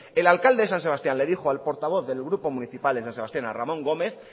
el alcalde de san sebastián le dijo al portavoz del grupo municipal en san sebastián a ramón gómez